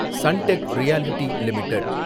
Suntek Realty limited